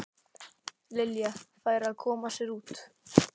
Lilja færi að koma sér út.